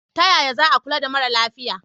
Ta yaya za a kula da mara lafiya?